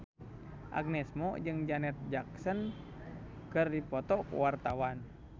Agnes Mo jeung Janet Jackson keur dipoto ku wartawan